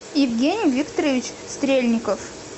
евгений викторович стрельников